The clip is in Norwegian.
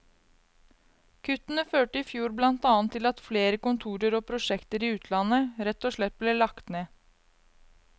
Kuttene førte i fjor blant annet til at flere kontorer og prosjekter i utlandet, rett og slett ble lagt ned.